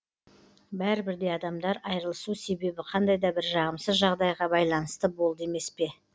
бәрібір де адамдар айырылысу себебі қандай да бір жағымсыз жағдайға байланысты болды емес па